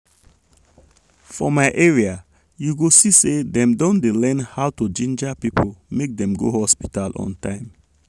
more people don dey know say to dey treat sickness on time dey good for both big people and small pikin.